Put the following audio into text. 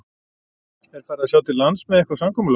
Er farið að sjá til lands með eitthvað samkomulag?